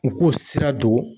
U k'o sira don.